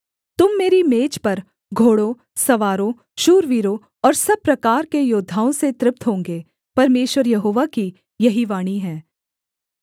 तुम मेरी मेज पर घोड़ों सवारों शूरवीरों और सब प्रकार के योद्धाओं से तृप्त होंगे परमेश्वर यहोवा की यही वाणी है